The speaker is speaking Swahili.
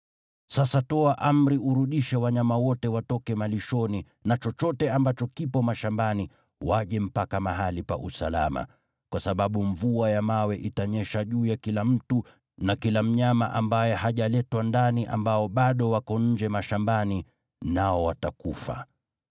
Sasa toa amri urudishe wanyama wote watoke malishoni na chochote ambacho kipo mashambani waje mpaka mahali pa usalama, kwa sababu mvua ya mawe itanyesha juu ya kila mtu na kila mnyama ambaye hajaletwa ndani ambao bado wako nje mashambani, nao watakufa.’ ”